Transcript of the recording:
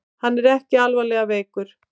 Hann er ekki alvarlega veikur